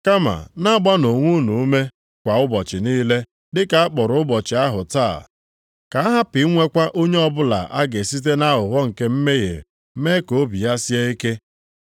Kama, na-agbanụ onwe unu ume kwa ụbọchị niile dịka a kpọrọ ụbọchị ahụ Taa. Ka a hapụ inwekwa onye ọbụla a ga-esite nʼaghụghọ nke mmehie mee ka obi ya sie ike.